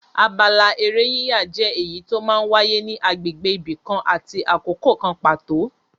Abala eré yíyà jẹ́ èyí tó máa ń wáyé ní agbègbè ibi kan àti àkókò kan pàtó.